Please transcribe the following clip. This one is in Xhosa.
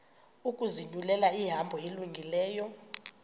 ukuzinyulela ihambo elungileyo